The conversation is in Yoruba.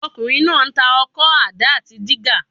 Ọmọkùnrin náà ń tà ọkọ́, àdá àti dígà.